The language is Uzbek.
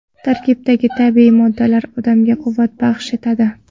Tarkibidagi tabiiy moddalar odamga quvvat baxsh etadi.